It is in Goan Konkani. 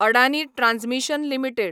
Adani transmission limited